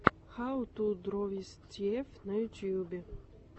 хау ту дро виз тиэф на ютьюбе